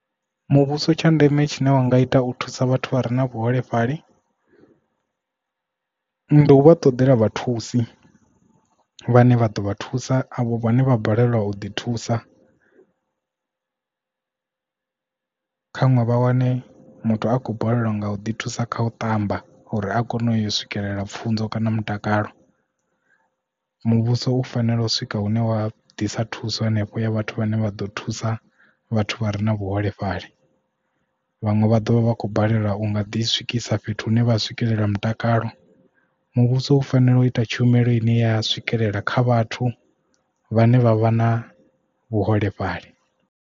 Muvhuso tsha ndeme tshine wa nga ita u thusa vhathu vha re na vhuholefhali ndi u vha ṱodela vhathusi vhane vha ḓo vha thusa avho vhane vha balelwa u ḓi thusa, kha ṅwe vha wane muthu a khou balelwa nga u ḓi thusa kha u ṱamba uri a kone u yo swikelela pfunzo kana mutakalo. Muvhuso u fanela u swika hune wa ḓisa thuso henefho ya vhathu vhane vha ḓo thusa vhathu vha re na vhuholefhali vhaṅwe vha ḓovha vha kho balelwa u nga ḓi swikisa fhethu hune vha swikelela mutakalo muvhuso u fanela u ita tshumelo ine ya swikelela kha vhathu vhane vha vha na vhuholefhali.